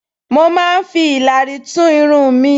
Mo máa ń fi ìlàrí tún irun mi